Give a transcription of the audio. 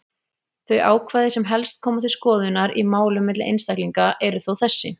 Þau ákvæði sem helst koma til skoðunar í málum milli einstaklinga eru þó þessi: